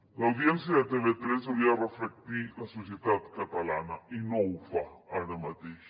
l’audiència de tv3 hauria de reflectir la societat catalana i no ho fa ara mateix